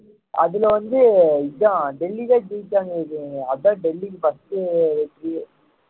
அதுல வந்து இதான் டெல்லிதான் ஜெயிச்சாங்க இது அதான் டெல்லிக்கு first